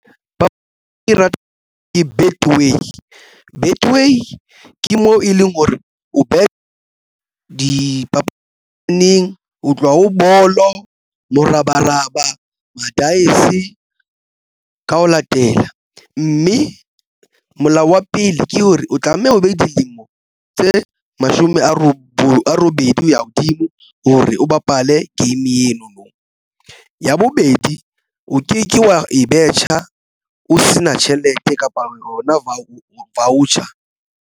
. Betway ke mo e leng hore o beha dipapading o tloha o bolo morabaraba madaese ka ho latela mme molao wa pele ke hore o tlameha o be dilemo tse mashome a robedi ho ya hodimo hore o bapale game eno no. Ya bobedi, o keke wa e betjha o se na tjhelete kapa rona o chair.